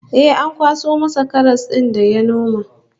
Eh, ana kan kwaso masa karas din da ya noma